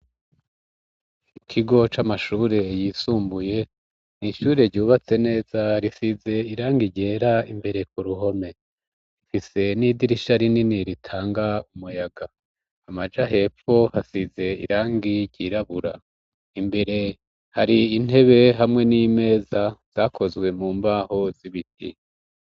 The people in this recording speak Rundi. Ikigo c'amashure yisumbuye ,n'ishure ryubatse neza risize irangi ryera, imbere ku ruhome rifise n'idirisha rinini ritanga umuyaga ,amaja hepfo hasize irangi ryirabura ,imbere hari intebe hamwe n'imeza zakozwe mu mbaho zibiti